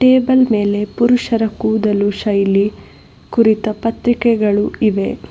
Table ಮೇಲೆ ಪುರುಷರ ಕೂದಲು ಶೈಲಿ ಕುರಿತ ಪತ್ರಿಕೆಗಳು ಇವೆ.